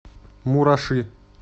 мураши